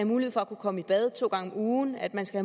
mulighed for at kunne komme i bad to gange om ugen at man skal